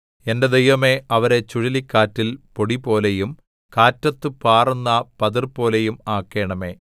എന്റെ ദൈവമേ അവരെ ചുഴലിക്കാറ്റിൽ പൊടിപോലെയും കാറ്റത്തു പാറുന്ന പതിർപോലെയും ആക്കണമേ